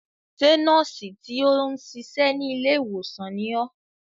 Ṣé nọ́ọ̀sì tí ó ń ṣiṣẹ́ ní ilé ìwòsàn ni ọ́?